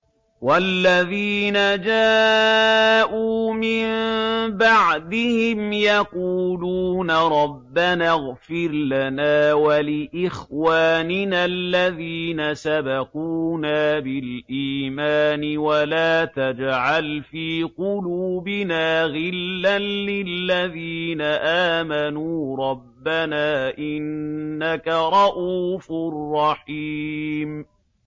وَالَّذِينَ جَاءُوا مِن بَعْدِهِمْ يَقُولُونَ رَبَّنَا اغْفِرْ لَنَا وَلِإِخْوَانِنَا الَّذِينَ سَبَقُونَا بِالْإِيمَانِ وَلَا تَجْعَلْ فِي قُلُوبِنَا غِلًّا لِّلَّذِينَ آمَنُوا رَبَّنَا إِنَّكَ رَءُوفٌ رَّحِيمٌ